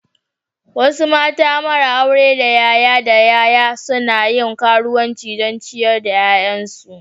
Wasu mata mara aure daya yaya daya suna yin karuwanci don ciyar da 'ya'yansu.